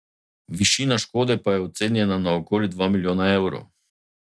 Višina škode pa je ocenjena na okoli dva milijona evrov.